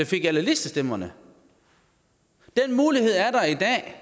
fik alle listestemmerne den mulighed er der i dag